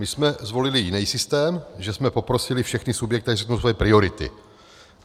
My jsme zvolili jiný systém, že jsme poprosili všechny subjekty, ať řeknou svoje priority.